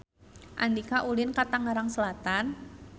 Andika ulin ka Tangerang Selatan